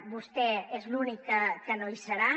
vostè és l’únic que no hi serà